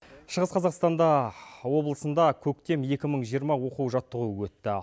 шығыс қазақстанда облысында көктем екі мың жиырма оқу жаттығуы өтті